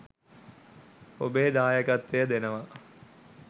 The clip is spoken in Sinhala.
ඔබේ දායකත්වය දෙනවා.